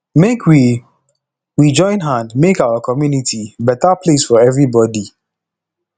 make we we join hand make our community beta place for everybodi